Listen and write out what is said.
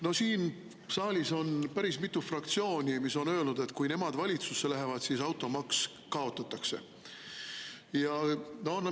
No siin saalis on päris mitu fraktsiooni, kes on öelnud, et kui nemad valitsusse lähevad, siis automaks kaotatakse.